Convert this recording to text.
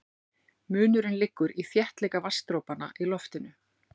Munurinn liggur í þéttleika vatnsdropanna í loftinu.